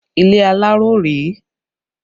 Ilé aláró rèé